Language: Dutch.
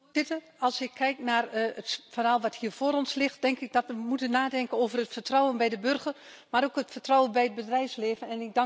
Voorzitter, als ik kijk naar het verhaal dat hier voor ons ligt, denk ik dat we moeten nadenken over het vertrouwen bij de burger, maar ook het vertrouwen bij het bedrijfsleven.